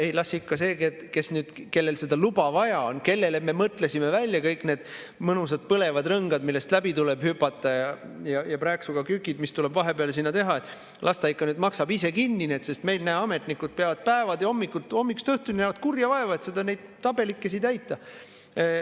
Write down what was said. Ei, las ikka see, kellel seda luba vaja on, kellele me mõtlesime välja kõik need mõnusad põlevad rõngad, millest läbi tuleb hüpata, ja prääksuga kükid, mis tuleb vahepeal teha, maksab ise kinni need, sest meil, näe, ametnikud näevad päevast päeva ja hommikust õhtuni kurja vaeva, et neid tabelikesi täita.